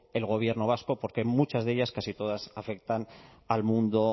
el gobierno vasco porque muchas de ellas casi todas afectan al mundo